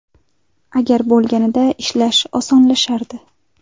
Agar bo‘lganida ishlash osonlashardi.